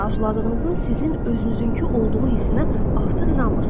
Arzuladığınızın sizin özünüzünkü olduğu hissinə artıq inanmırsınız.